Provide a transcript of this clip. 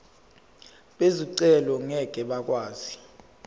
bezicelo ngeke bakwazi